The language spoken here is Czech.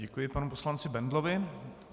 Děkuji panu poslanci Bendlovi.